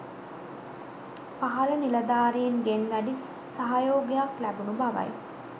පහළ නිලධාරීන්ගෙන් වැඩි සහයෝගයක් ලැබුන බවයි